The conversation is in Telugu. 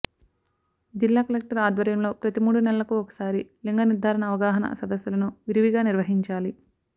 జిల్లాకలెక్టరు ఆధ్వర్యంలో ప్రతి మూడు నెలలకు ఒకసారి లింగ నిర్ధారణ అవగాహన సదస్సులను విరివిగా నిర్వహించాలి